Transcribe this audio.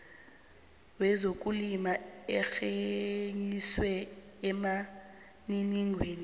wezokulima arhenyiswe emininingwaneni